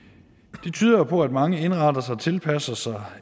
det tyder jo på at mange indretter sig og tilpasser sig